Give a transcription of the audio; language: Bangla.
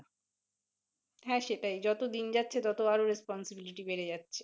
হ্যাঁ সেটাই যত দিন যাচ্ছে ততো আরো recponsibility বেড়ে যাচ্ছে,